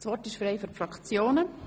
Das Wort ist frei für die Fraktionen.